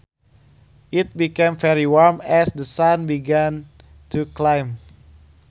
It became very warm as the sun began to climb